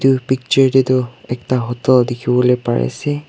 tu picture tae toh ekta hotel dekhivo lae pari ase.